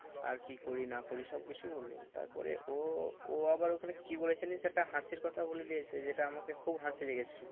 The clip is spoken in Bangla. আর কি করি না করি সব কিছুই বললো তারপরে ও, ও আবার ওখানে কি বলেছে জানিস একটা হাসির কথা বলে দিয়েছে যেটা আমাকে খুব হাসি লেগেছিলো।